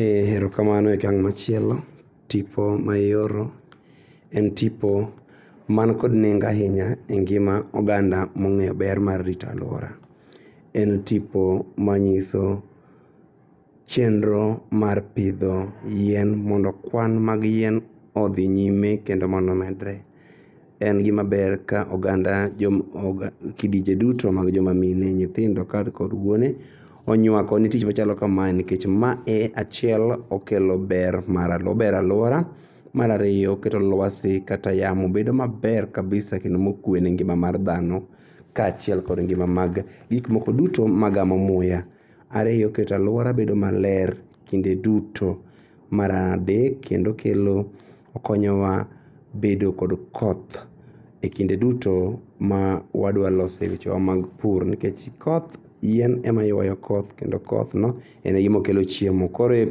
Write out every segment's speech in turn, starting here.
Eee erokamanoe akang' machielo tipo ma ioro en tipo man kod nengo ainya e ngima oganda mong'eyo ber mar rito aluora. En tipo manyiso chenro mar pidho yien mondo kwan mag yien odhi nyime kendo mondo omedre. En gima ber ka oganda, kidinje duto mag joma mine, nyithindo kar kod wuone onyuakone tich machalo kamae nikech ma e achiel okelo ber mar aluora, obero aluora .Mar ariyo oketo luasi kata yamo bedo maber kabisa kendo mokue ne ngima mar dhano kachiel kod ngima mag gikmoko duto magamo muya. Ariyo oketo aluora bedo maler kinde duto. Mar adek kendo okelo, okonyowa bedo kod koth e kinde duto ma wadwaloso e wechewa mag pur nikech koth yien ema yuayo koth kendo kothno ene gima kelo chiemo. Koro e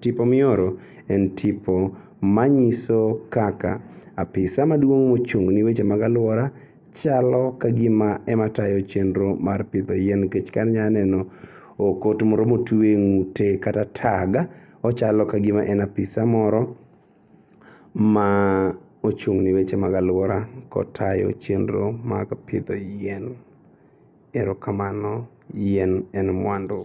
tipo mioro en tipo manyiso kaka apisa maduong' mochung'ne weche mag aluora chalo kagima ema tayo chenro mar pidho yien nikech ka anyaneno okot moro motue ng'ute kata tag machalo kagima en apisa moro ma ochung'ne weche mag aluora kotayo chenro mag pidho yien. Erokamano, yien en muandu.